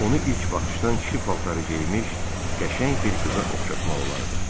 Onu ilk baxışdan kişi paltarı geyinmiş, qəşəng bir qıza oxşatmaq olardı.